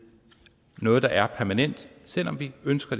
noget der er permanent selv om vi ønsker